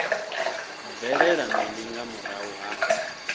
bvelela mini nga murahu ha